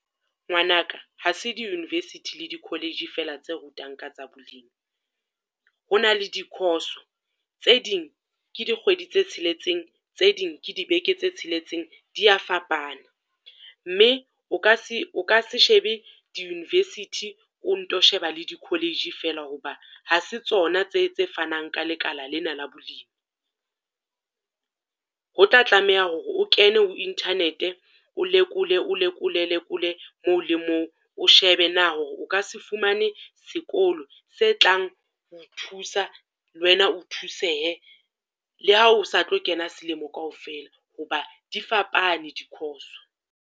Ngwana ka ha se di-university le di-college fela tse rutang ka tsa bolimi. Ho na le di-course-o, tse ding ke di kgwedi tse tsheletseng tse ding ke dibeke tse tsheletseng, di ya fapana. Mme o ka se, o ka se shebe di-university o nto sheba le di-college fela ho ba ha se tsona tse tse fanang ka lekala lena la bolimi. Ho tla tlameha hore o kene ho internet-e, o lekole o lekole moo le mong. O shebe na hore o ka se fumane sekolo se tlang ho o thusa le wena o thusehe le ha o sa tlo kena selemo kaofela, ho ba di fapane di-course.